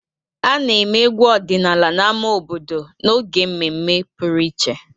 A na-eme egwu ọdịnala n'ámá obodo n'oge mmemme pụrụ iche.